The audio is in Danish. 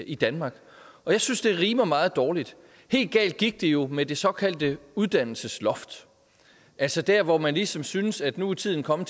i danmark og jeg synes det rimer meget dårligt helt galt gik det jo med det såkaldte uddannelsesloft altså dér hvor man ligesom synes at nu er tiden kommet